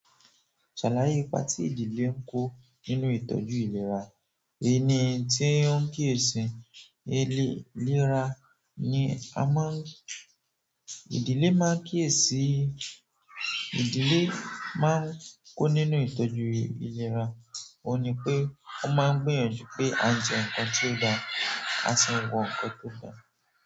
Ṣàlàyé ipa tí ìdílé ń kó nínú ìtọ́jú ìlera. Èni tí ó ń kí èsìn èléra ni a máa ń-- ìdílé máa ń kí èsìn-- ìdílé máa ń kó nínú ìtọ́jú ìlera, òun ni pé ó máa ń gbìyànjú pé a jẹ ǹkan tó da, a sì wọ ǹkan tó da.